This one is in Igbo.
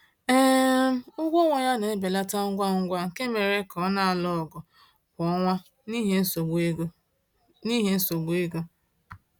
um Ụgwọ ọnwa ya na-ebelata ngwa ngwa nke mere ka ọ na-alụ ọgụ kwa ọnwa n’ihi nsogbu ego. n’ihi nsogbu ego.